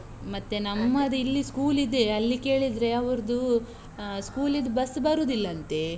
ಮತ್ತೆ ನಮ್ಮದಿಲ್ಲಿ school ಇದೆ, ಅಲ್ಲಿ ಕೇಳಿದ್ರೆ ಅವರ್ದು ಆ school ಲಿದು bus ಬರುದಿಲ್ಲಂತೆ.